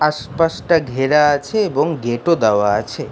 আশপাশটা ঘেরা আছে এবং গেট ও দাওয়া আছে ।